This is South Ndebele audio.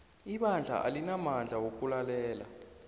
ibandla alinamandla wokulalela